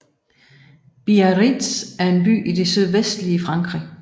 Biarritz er en by i det sydvestlige Frankrig